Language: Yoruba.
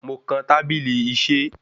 Mo kan tábílí iṣé.